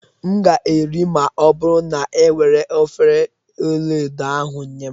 M ga-eri, ma ọ bụrụ na e were efere ọla edo ahụ nye m